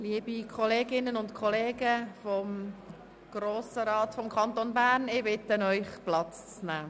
Liebe Kolleginnen und Kollegen des Grossen Rats, ich bitte Sie, Platz zu nehmen.